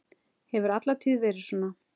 Hefur alla tíð verið svona.